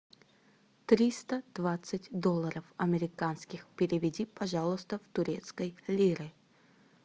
триста двадцать долларов американских переведи пожалуйста в турецкие лиры